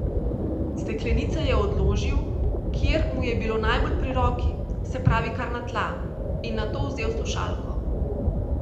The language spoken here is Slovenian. Steklenice je odložil, kjer mu je bilo najbolj pri roki, se pravi kar na tla, in nato vzel slušalko.